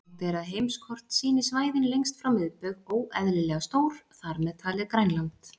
Algengt er að heimskort sýni svæðin lengst frá miðbaug óeðlilega stór, þar með talið Grænland.